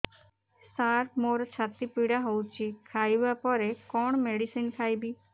ସାର ମୋର ଛାତି ପୀଡା ହଉଚି ଖାଇବା ପରେ କଣ ମେଡିସିନ ଖାଇବି